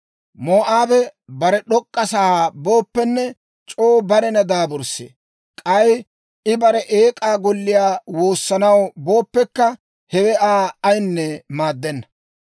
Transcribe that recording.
Moo'aabe bare d'ok'k'a sa'aa booppenne, c'oo barena daaburssee; k'ay I bare eek'aa golliyaa woossanaw booppekka, hewe Aa ayinne maaddenna.